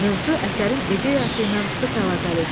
Mövzu əsərin ideyası ilə sıx əlaqəlidir.